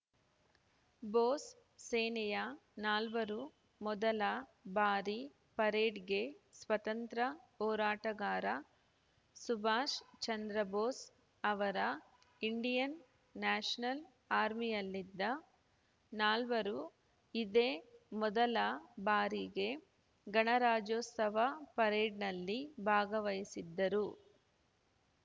ಬೋಸ್‌ ಸೇನೆಯ ನಾಲ್ವರು ಮೊದಲ ಬಾರಿ ಪರೇಡ್‌ಗೆ ಸ್ವಾತಂತ್ರ್ಯ ಹೋರಾಟಗಾರ ಸುಭಾಷ್‌ ಚಂದ್ರ ಬೋಸ್‌ ಅವರ ಇಂಡಿಯನ್‌ ನ್ಯಾಷನಲ್‌ ಆರ್ಮಿಯಲ್ಲಿದ್ದ ನಾಲ್ವರು ಇದೇ ಮೊದಲ ಬಾರಿಗೆ ಗಣರಾಜ್ಯೋತ್ಸವ ಪರೇಡ್‌ನಲ್ಲಿ ಭಾಗವಹಿಸಿದ್ದರು